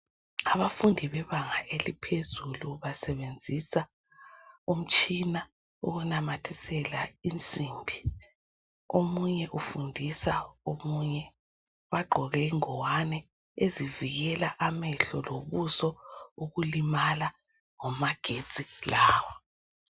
Abafundi bebanga eliphezulu basebenzisa umtshina wokunamathisela insimbi. Omunye ufundisa omunye. Bagqoke ingowane ezivikele amehlo lobuso ukulimala ngamagetsi lawa.